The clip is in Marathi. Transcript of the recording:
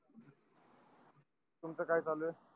तुमच काय चालू आहेत